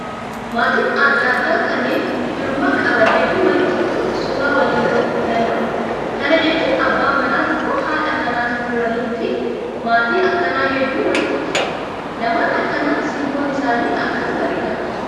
Maatiin adda addaa kanneen firummaa qaban hedduun walitti dhufuun suuraa waliin ka'uu danda'u. Kana jechuun abbaan manaa tokko haadha manaa tokko waliin fi maatii akkanaa hedduun walitti dhufu. Namoonni akkanaa simboon isaanii akkam bareeda.